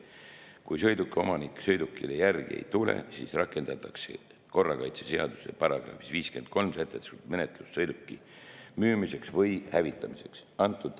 Kui sõiduki omanik sõidukile järele ei tule, siis rakendatakse korrakaitseseaduse §‑s 53 sätestatud menetlust sõiduki müümiseks või hävitamiseks.